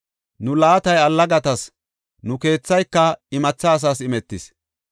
Nu laatay allagatas, nu keethayka imatha asaas imetis.